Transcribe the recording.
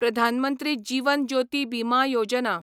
Pradhan Mantri Jeevan Jyoti Bima Yojana